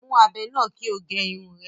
Mú ábẹ́ náà kí o gẹ Irun rẹ